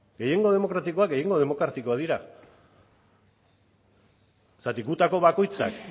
gehiengo demokratikoak gehiengo demokratiko dira zergatik gutako bakoitzak